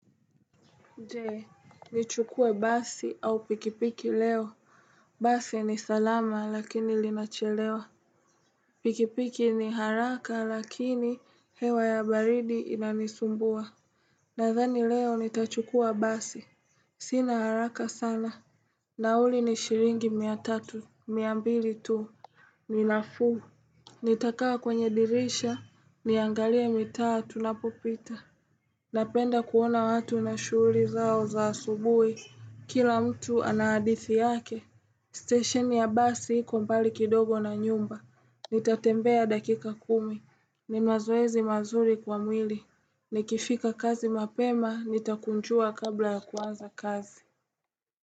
Je, nichukue basi au pikipiki leo. Basi ni salama lakini linachelewa. Pikipiki ni haraka lakini hewa ya baridi inanisumbua. Nadhani leo nitachukua basi. Sina haraka sana. Nauli ni shiringi mia tatu, mia ambili tu. Ninafuu. Nitakawa kwenye dirisha, niangalie mitaa tunapopita. Napenda kuona watu na shuhuri zao za subui. Kila mtu anaadithi yake, station ya basi iko mbali kidogo na nyumba, nitatembea dakika kumi, ni mazoezi mazuri kwa mwili, nikifika kazi mapema, nitakunjua kabla ya kuanza kazi.